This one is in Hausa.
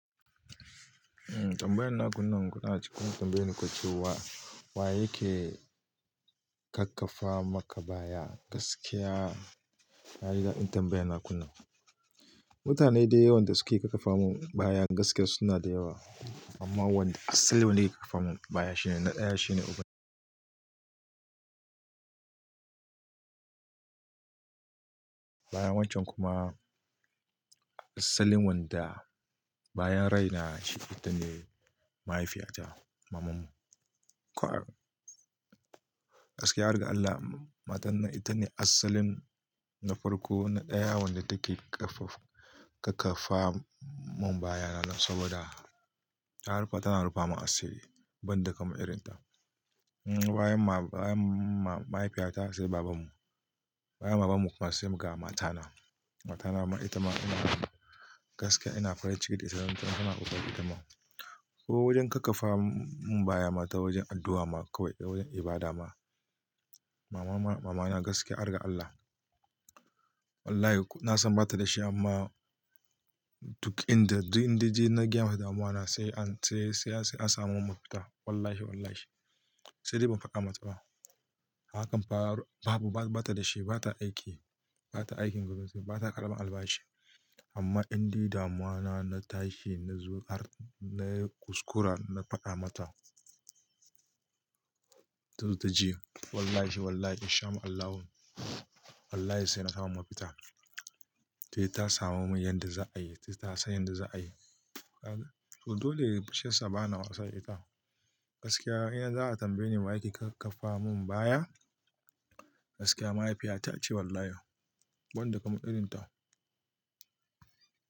Tambayan na kunnan kuna cikin tambaye ni ku cewa wa yake kakkafa maka baya gaskiya? Na ji dadin tambayar na kunna. Mutane da yawan da suke kakkafa mun baya gaskiya su na da yawa amma wanda asalin wanda yake kakkafa mun baya na ɗaya shine uban. Baya wancan kuma asalin wanda bayan rai na shi ita ne mahaifiyata, mamanmu. Gaskiya, arga Allah, matar nan ita ne asalin na farko na ɗaya wanda take kakkafa mun baya saboda ta rufa, tana rufa mun asiri ban da kamar irin ta. Bayan mahaifiyata sai baban mu. Bayan baban mu kuma sai ga matana. Matana ma ita ma ina gaskiya ina farin ciki da ita, saboda ita tana kokari itama, ko wajen kakkafa mun baya ma ta wajen addu'a ma kawai da wajen ibada ma. Mama na gaskiya, arga Allah. Wallahi na san bata da shi amma duk inda, duk inda ji na gaya mata damuwa na sai an, sai sai an samu mafita. Wallahi wallahi. Sai dai ban faɗa mata ba. Hakan fa babu, bata da shi, bata aiki, bata aikin gwamnati, bata karamar albashi, amma indai damuwa na ta shi, na zo har na kuskura na faɗa mata. Tazo ta ji wallahi wallahi in shama Allahu, wallahi sai na samu mafita. Sai ta samu mun yadda za'a yi, ta san yadda za'a yi. Dole fushin sa, bana wasa da ita. Gaskiya in har za'a tambaye ni waye yake kakkafa mun baya, gaskiya mahaifiyata ce wallahi. Ban da kaman irin ta.